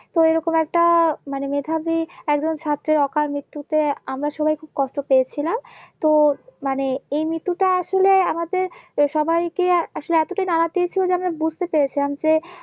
তো এই রকম একটা মানে মেধাবী একজন ছাত্রের অকাল মৃত্যুতে আমরা সবাই খুব কষ্ট পেয়েছিলাম তো মানে এই মৃত্যুটা আসলে আমাদের সবাইকে আসলে এতটাই নাড়া দিয়েছিলো যে আমার বুঝতে পেরেছিলাম